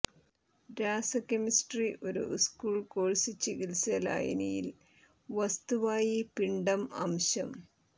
രാസ കെമിസ്ട്രി ഒരു school course ചികിത്സ ലായനിയിൽ വസ്തുവായി പിണ്ഡം അംശം